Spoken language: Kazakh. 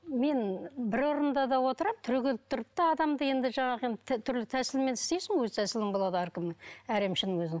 мен бір орында да отырып түрегеліп тұрып та адамды енді жаңағы енді түрлі тәсілмен істейсің өз тәсілің болады әркімнің әр емшінің өзінің